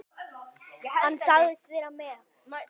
Hann sagðist vera með